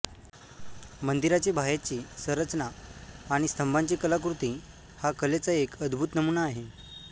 मंदिराची बाहेरची संरचना आणि स्तंभांची कलाकृती हा कलेचा एक अद्भूत नमुना आहे